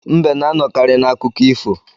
Mbe na-anọkarị n'akụkọ ifo.